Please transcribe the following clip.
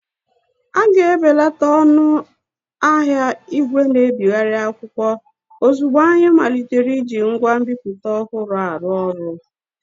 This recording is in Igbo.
A ga-ebelata ọnụ ahịa ìgwè na-ebigharị akwụkwọ ozugbo anyị malitere iji ngwa nbipute ọhụrụ arụ ọrụ.